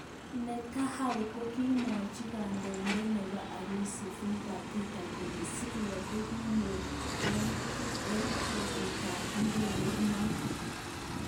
Netanyau kokimwochi kondoidet nebo Urusi Vladimir Peter kole Syria kokiyoche kenerekyi eng kabutetab idegeit non